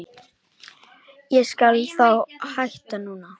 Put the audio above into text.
Ég skal þá hætta núna.